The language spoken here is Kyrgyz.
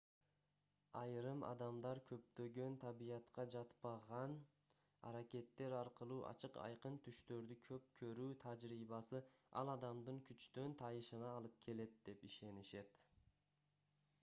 айрым адамдар көптөгөн табиятка жатпаган аракеттер аркылуу ачык-айкын түштөрдү көп көрүү тажрыйбасы ал адамдын күчтөн тайышына алып келет деп ишенишет